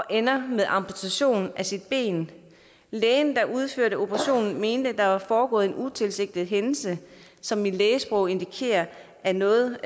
ender med amputation af sit ben lægen der udførte operationen mente at der var foregået en utilsigtet hændelse som i lægesprog indikerer at noget